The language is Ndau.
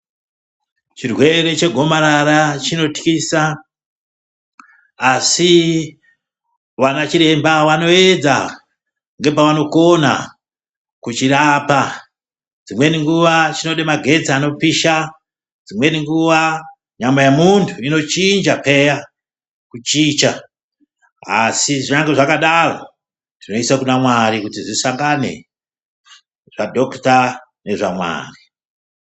Chirwere chegomarara chinotwisa asi vana chiremba vanoedza ngepavanokona kuchirapa. Dzimweni nguva chinode magetsi anopisha dzimweni nguva nyama yemuntu inochinja peya kuchinja. Asi zvirambe zvakadaro zveiisa kuna mwari kuti zvisangane zvadhokuta nezvamwari.